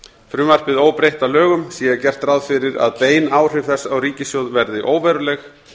frumvarpið óbreytt að lögum sé gert ráð fyrir að bein áhrif þess á ríkissjóð verði óveruleg